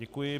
Děkuji.